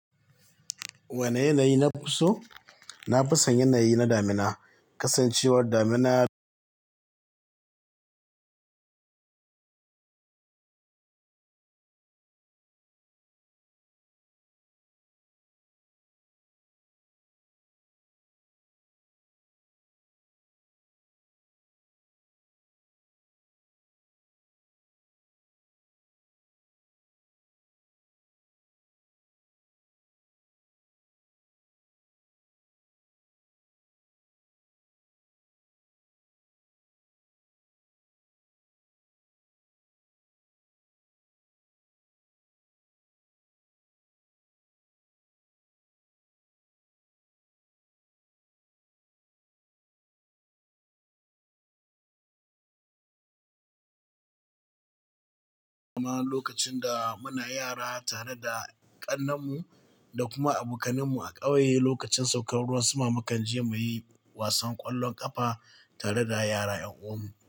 Wani yanayi nafi so? Na fi son yanayi na damina. Kasancewar damina, lokacin da muna yara tare da ƙannen mu da kuma abokanen mu a ƙauye, lokacin saukar ruwan sama mukan je muyi wasan ƙwallon ƙafa tare da yara 'yan uwan mu.